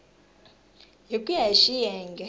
hi ku ya hi xiyenge